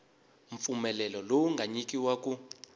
mpfumelelo lowu nga nyikiwa ku